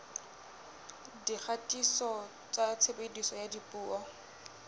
dikgatiso tsa tshebediso ya dipuo